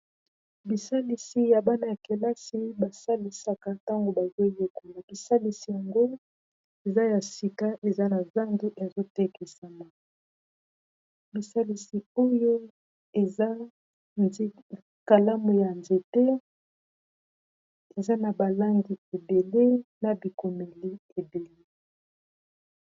Bisalisi ya bana ya kelasi basalisaka ntango bazoyekola bisalisi yango eza ya sika eza na zando ezotekisama bisalisi oyo eza nikalamu ya nzete eza na ba langi ebele na bikomeli ebele.